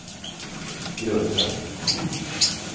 grunden